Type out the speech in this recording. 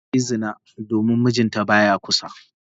Ta yi zina domin mijinta ba ya kusa.